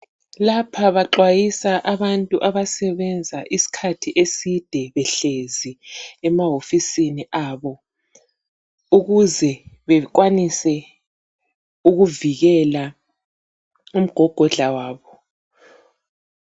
Lapha baxwayisa abantu abasebenza isikhathi eside behlezi emahofisini abo. Ukuze bakwanise, ukuvikela, umgogodla wabo.